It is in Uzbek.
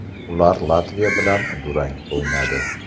Ular Latviya bilan durang o‘ynadi.